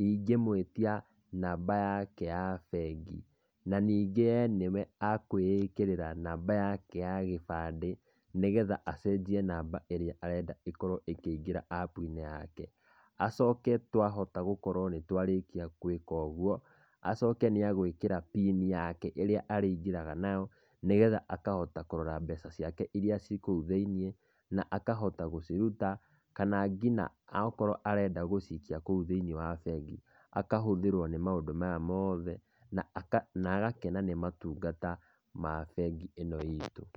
ingĩmwĩtia namba yake ya bengi na ningĩ e nĩwe ekwĩĩkĩrĩra namba yake ya gĩbandĩ, nĩgetha acenjie namba ĩrĩa arenda ĩkorwo ĩkĩingĩra app -inĩ yake. Acoke twahota gũkorwo nĩtwarĩkia gũĩka ũguo, acoke nĩegũĩkĩra mbini yake ĩrĩa arĩingĩraga nayo, nĩgetha akahota kũrora mbeca ciake iria ciĩ kũu thĩiniĩ, na akahota gũciruta, kana nginya akorwo arenda gũciikia kũu thĩiniĩ wa bengi, akahũthĩrũo nĩ maũndũ maya moothe, na aka na agakena nĩ motungata ma bengi ĩno itũ.